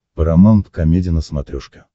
парамаунт комеди на смотрешке